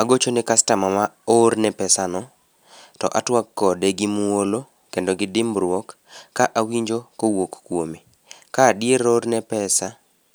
Agocho ni customer ma oorne pesano, to atuak kode gi muolo to kod dimbruok ka awinjo kowuok kuome ka adier oorne pesa